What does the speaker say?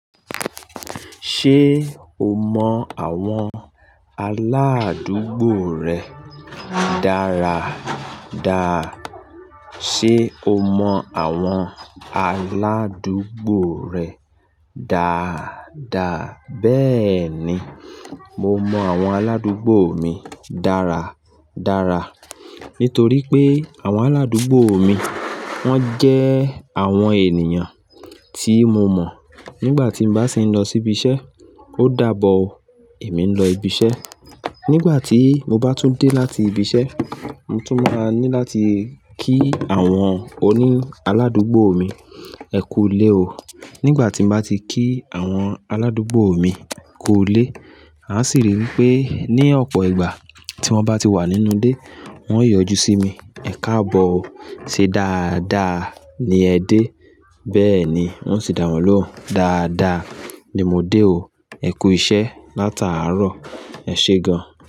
Ṣé o mọ àwọn aládùúgbò rẹ dáradára? Sé o mọ àwọn aládùúgbò rẹ dáadáa? Bẹ́ẹ̀ni, mo mọ àwọn aládùúgbò mi dáradára. Nítorí pé àwọn aládùúgbò mi wọ́n jẹ́ àwọn ènìyàn tí mo mọ̀. Nígbà tí mo bá ṣi ń lọ síbi iṣẹ́, ó dàbọ̀ ó, èmi ń lọ ibi iṣẹ́. Nígbà tí mo bá tún dé láti ibi iṣẹ́, mo tún máa ní láti kí àwọn oní aládùúgbò mi, "ẹ kú u lé o". Nígbà tí mo bá ti kí àwọn aládùúgbò mi kú u lé, a sì rí wipé ní ọ̀pọ̀ ìgbà tí wọ́n bá ti wà nínú ilé, wọ́n yóò yọjú sí mi, "Ẹ̀káàbọ̀ o, ṣe dáadáa ni ẹ dé?" Bẹ́ẹ̀ni, mo ó sì dàwọ́ lóhùn, "Dáadáa ni mo dé o. Ẹ kú iṣẹ́ látàárọ̀, ẹ ṣe gan."